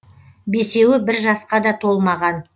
бесеуі бір жасқа да толмаған